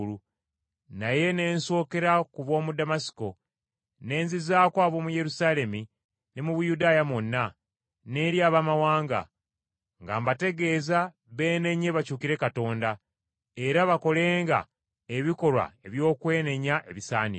naye ne nsookera ku b’omu Damasiko, ne nzizaako ab’omu Yerusaalemi ne mu Buyudaaya mwonna, n’eri Abaamawanga, nga mbategeeza beenenye bakyukire Katonda, era bakolenga ebikolwa eby’okwenenya ebisaanira.